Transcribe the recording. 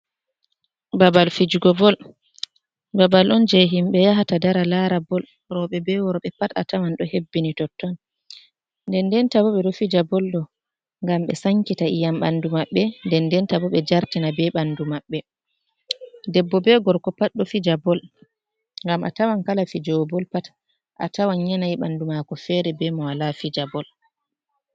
Babal fijugo bol, babal on je himɓe yahata dara lara bol roɓe be worɓe pat a tawan do hebbini totton, nden denta bo ɓe ɗo fija bol ɗo ngam be sankita iyam bandu maɓɓe, nden denta bo ɓe jartina ɓe ɓandu maɓɓe, debbo be gorko pat ɗo fija bol ngam a tawan kala fijugo bol pat a tawan yanayi bandu mako fere be mo walla fija. bol